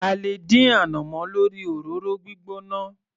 A lè dín ànàmọ́ lórí òróró gbígbóná.